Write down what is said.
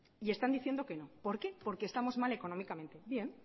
y están diciendo que no por qué porque estamos mal económicamente bien